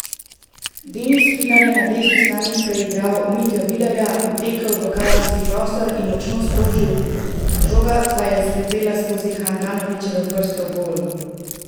Denis Klinar je na desni strani preigral Mitjo Vilerja, utekel v kazenski prostor in močno sprožil, žoga pa je zletela skozi Handanovićeve prste v gol.